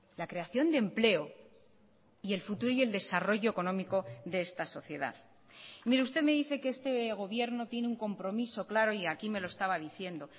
la creación de empleo y el futuro y el desarrollo económico de esta sociedad mire usted me dice que este gobierno tiene un compromiso claro y aquí me lo estaba diciendo